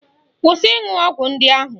Kwụsị ịṅụ ọgwụ ndị ahụ!